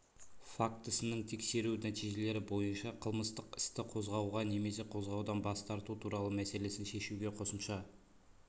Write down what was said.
фактісінің тексеру нәтижелері бойынша қылмыстық істі қозғауға немесе қозғаудан бас тарту туралы мәселесін шешуге қосымша